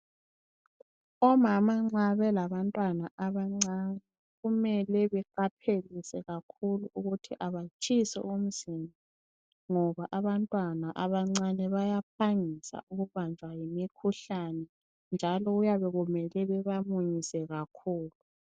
Omama nxa belabantwana abancane, kumele beqaphelise kakhulu ukuthi abatshisi umzimba ngoba abantwana abancane bayaphangisa ukubanjwa yimikhuhlane. Njalo kuyabe kumele bebamunyise kakhulu.